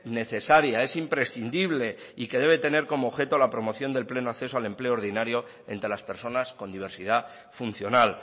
necesaria es imprescindible y que debe tener como objeto la promoción del pleno acceso al empleo ordinario entre las personas con diversidad funcional